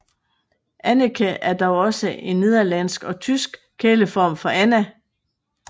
Anneke er dog også en nederlandsk og tysk kæleform for Anna